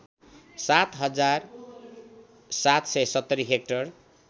७ हजार ७७० हेक्टर